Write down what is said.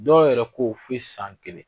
Dɔw yɛrɛ ko fo i san kelen.